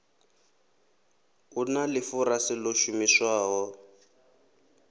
hu na ḽifurase ḽo shumiswaho